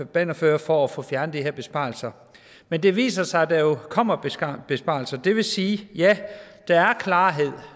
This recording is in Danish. bannerfører for at få fjernet de her besparelser men det viser sig at der jo kommer besparelser det vil sige at ja der er klarhed